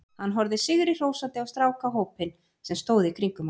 Hann horfði sigri hrósandi á strákahópinn sem stóð í kringum hann.